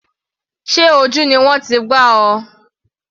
Sé ojú ni wọ́n ti gbá ọ?